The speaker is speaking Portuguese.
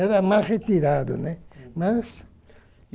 Era mais retirado, né, mas.